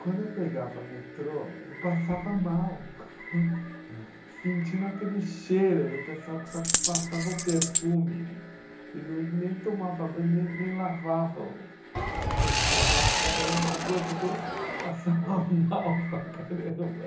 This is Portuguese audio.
Quando eu pegava metrô, eu passava mal, sentindo aquele cheiro do pessoal que só passava o perfume e não nem tomava banho, nem nem lavava o o sovaco, que era uma coisa que eu passava mal para caramba.